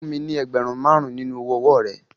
Lọ fún mi ní ẹgbẹ̀rún márùn-ún nínú owó ọwọ́ọ̀ rẹ.